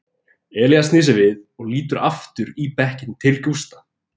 Elías snýr sér við og lítur aftur í bekkinn til Gústa.